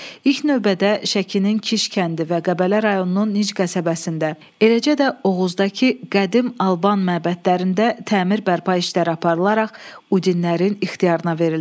İlk növbədə Şəkinin Kiş kəndi və Qəbələ rayonunun Nic qəsəbəsində, eləcə də Oğuzdakı qədim Alban məbədlərində təmir bərpa işləri aparılaraq udinlərin ixtiyarına verildi.